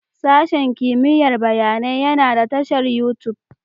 Sashen kimiyyar bayanai yana da tashar YouTube